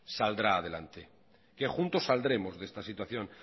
saldrá adelante que juntos saldremos de esta situación